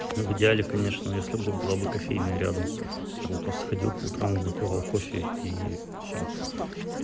ну в идеале конечно если бы была бы кофейная рядом я бы просто ходил по утрам выпивал кофе и всё